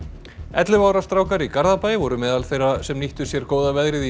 ellefu ára strákar í Garðabæ voru meðal þeirra sem nýttu sér góða veðrið í